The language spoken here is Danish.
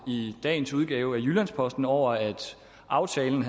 i dagens udgave af jyllands posten over at aftalen